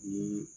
Ni